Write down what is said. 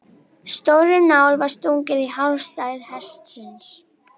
Stórri nál var stungið í hálsæð hestsins.